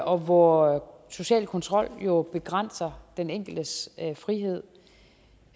og hvor social kontrol jo begrænser den enkeltes frihed